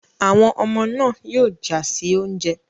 Àwọn ọmọ náà yóò jà sí oúnjẹ.